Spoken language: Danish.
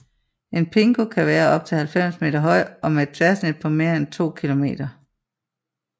En pingo kan være op til 90 meter høj og med et tværsnit på mere end 2 kilometer